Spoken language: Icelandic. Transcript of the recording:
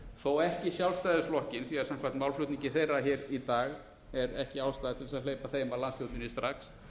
þó ekki sjálfstæðisflokkinn því samkvæmt málflutningi þeirra hér í dag er ekki ástæða til þess að hleypa þeim að landsstjórninni strax